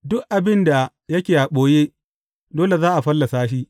Duk abin da yake a ɓoye, dole za a fallasa shi.